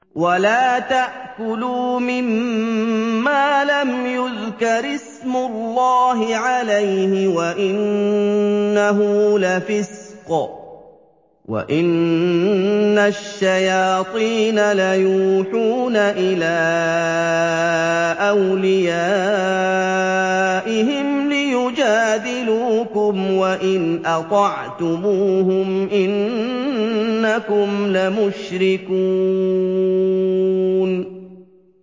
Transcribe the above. وَلَا تَأْكُلُوا مِمَّا لَمْ يُذْكَرِ اسْمُ اللَّهِ عَلَيْهِ وَإِنَّهُ لَفِسْقٌ ۗ وَإِنَّ الشَّيَاطِينَ لَيُوحُونَ إِلَىٰ أَوْلِيَائِهِمْ لِيُجَادِلُوكُمْ ۖ وَإِنْ أَطَعْتُمُوهُمْ إِنَّكُمْ لَمُشْرِكُونَ